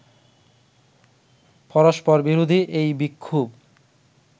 পরস্পরবিরোধী এই বিক্ষোভ